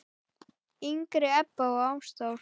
yngri Ebba og Ástþór.